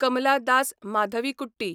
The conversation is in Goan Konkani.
कमला दास माधवीकुट्टी